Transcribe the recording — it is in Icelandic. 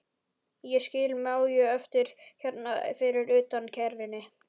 Ég skil Maju eftir hérna fyrir utan í kerrunni.